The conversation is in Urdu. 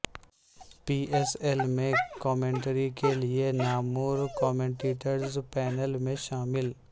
پی ایس ایل میں کمنٹری کیلیے نامور کمنٹیٹرز پینل میں شامل